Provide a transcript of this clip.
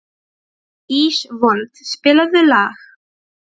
Ísfold, spilaðu lag.